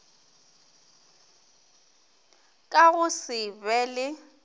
ka go se be le